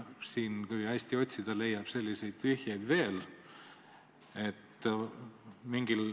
Kui hästi otsida, leiab selliseid vihjeid veel.